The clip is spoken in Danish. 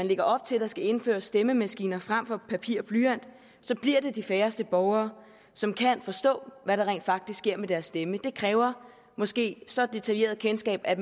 lægger op til at der skal indføres stemmemaskiner frem for papir og blyant så bliver det de færreste borgere som kan forstå hvad der rent faktisk sker med deres stemme det kræver måske et så detaljeret kendskab at